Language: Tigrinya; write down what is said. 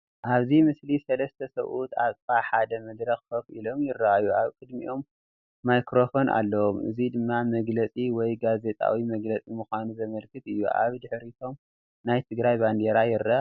ኣብዚ ምስሊ ሰለስተ ሰብኡት ኣብ ጥቓ ሓደ መድረኽ ኮፍ ኢሎም ይረኣዩ። ኣብ ቅድሚኦም ማይክሮፎን ኣለዎም፣ እዚ ድማ መግለጺ ወይ ጋዜጣዊ መግለጺ ምዃኑ ዘመልክት እዩ። ኣብ ድሕሪቶም ናይ ትግራይ ባንዴራ ይረአ ኣሎ።